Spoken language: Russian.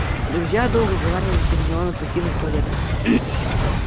друзья долго уговаривали гермиону покинуть туалет